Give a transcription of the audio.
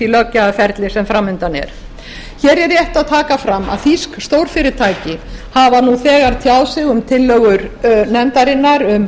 löggjafarferli sem fram undan er hér er rétt að taka fram að þýsk stórfyrirtæki hafa nú þegar tjáð sig um tillögur nefndarinnar um